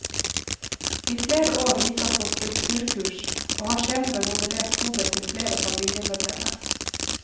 I flere år gikk han på skulpturkurs, og har senere modellert hodet til flere familiemedlemmer.